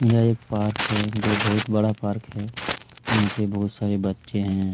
यह एक पार्क है जो की बहुत बड़ा पार्क है यहाँ पे बहुत सारे बच्चे हैं।